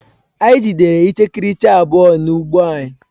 Anyị jidere ichikiriche abụọ n'ugbo anyị